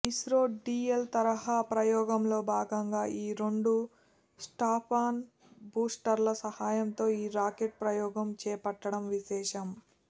ISRO DL తరహా ప్రయోగంలో భాగంగా ఈ రెండు స్ట్రాపాన్ బూస్టర్ల సాయంతో ఈ రాకెట్ ప్రయోగం చేపట్టడం విశేషం